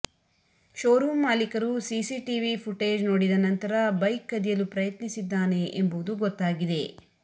show room ಮಾಲಿಕರು CCTV footage ನೋಡಿದ ನಂತರ ಬೈಕ್ ಕದಿಯಲು ಪ್ರಯತ್ನಿಸಿದ್ದಾನೆ ಎಂಬುವುದು ಗೊತ್ತಾಗಿದೆ